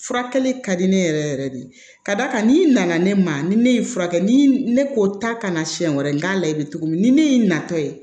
Furakɛli ka di ne yɛrɛ yɛrɛ de ka d'a kan n'i nana ne ma ni ne ye n furakɛ ni ne ko taa kana siɲɛ wɛrɛ n k'a la i bɛ cogo min ni ne y'i natɔ ye